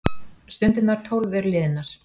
Stundirnar tólf eru liðnar.